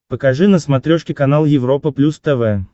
покажи на смотрешке канал европа плюс тв